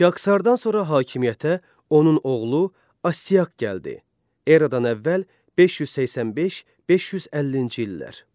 Kiaksardan sonra hakimiyyətə onun oğlu Astiaq gəldi, Eradan əvvəl 585-550-ci illər.